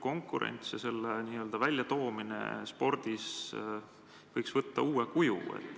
Konkurentsi väljatoomine spordis võiks nagu võtta uue kuju.